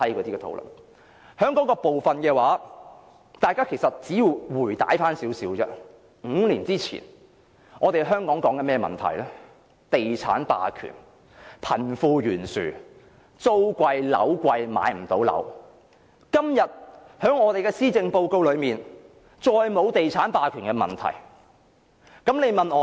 關於這個部分，如果大家回顧5年前，我們討論的問題是地產霸權、貧富懸殊、租貴樓貴、買不到樓，但今日施政報告中再沒有提及地產霸權問題。